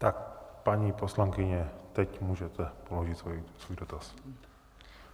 Tak paní poslankyně, teď můžete položit svůj dotaz.